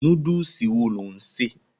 Núdùsì wo lò ń ṣè?